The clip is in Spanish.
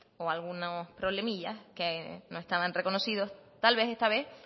o algunos problemillas que no estaban reconocidos tal vez esta vez